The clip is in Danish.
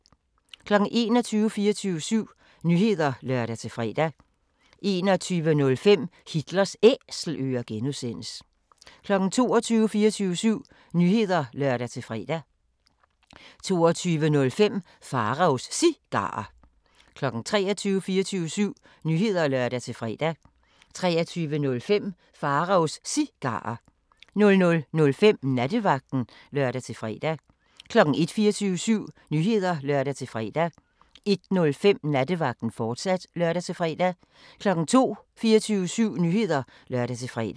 21:00: 24syv Nyheder (lør-fre) 21:05: Hitlers Æselører (G) 22:00: 24syv Nyheder (lør-fre) 22:05: Pharaos Cigarer 23:00: 24syv Nyheder (lør-fre) 23:05: Pharaos Cigarer 00:05: Nattevagten (lør-fre) 01:00: 24syv Nyheder (lør-fre) 01:05: Nattevagten, fortsat (lør-fre) 02:00: 24syv Nyheder (lør-fre)